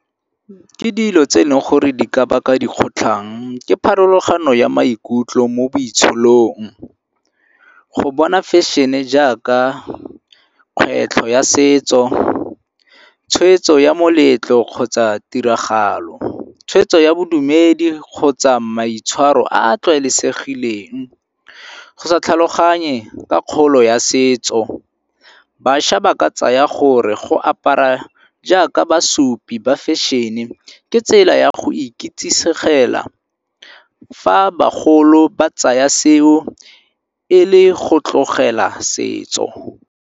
Ke dilo tse e leng gore di ka baka dikgotlhang ke pharologano ya maikutlo mo boitsholong. Go bona fashion-e jaaka kgwetlho ya setso, tshweetso ya moletlo kgotsa tiragalo. Tshwetso ya bodumedi kgotsa maitshwaro a a tlwaelesegileng. Go sa tlhaloganye ka kgolo ya setso, bašwa ba ke tsaya gore go apara jaaka basupi ba fahion-e ke tsela ya go ikitsisegela fa bagolo ba tsaya seo e le go tlogela setso.